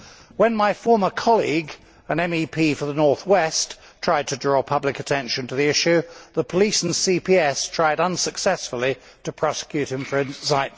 When my former colleague, an MEP for the North West, tried to draw public attention to the issue, the police and CPS tried unsuccessfully to prosecute him for incitement.